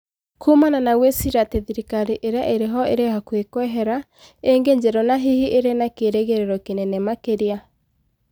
kuumana na gwĩciria atĩ thirikari ĩrĩa ĩrĩho ĩrĩ hakuhĩ kweherera ĩngĩ njerũ na hihi ĩrĩ na kerĩgĩrĩro kĩnene makĩria.